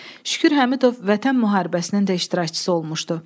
Şükür Həmidov Vətən Müharibəsinin də iştirakçısı olmuşdu.